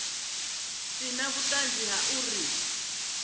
si na vhuṱanzi ha uri